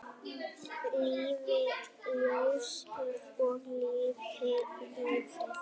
Lifi ljósið og lifi lífið!